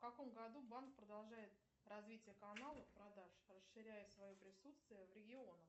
в каком году банк продолжает развитие канала продаж расширяя свое присутствие в регионах